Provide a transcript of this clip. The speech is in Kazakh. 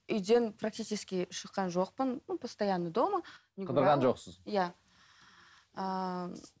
үйден практический шыққан жоқпын ну постоянно дома қыдырған жоқсыз иә ыыы